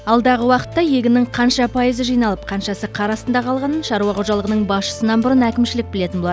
алдағы уақытта егіннің қанша пайызы жиналып қаншасы қар астында қалғанын шаруа қожалығының басшысынан бұрын әкімшілік білетін болады